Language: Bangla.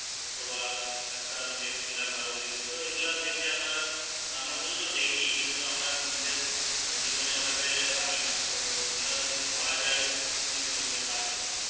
অথবা একটা আমি দেখছিলাম আরো Video তো এগুলা দেখে আমার আমরা শুধু তো দেখি কিন্তু আমরা নিজের জীবনে ওটাকে আনি না তো এগুলো যদি করা যায় জীবনে এগুলো কার্য কর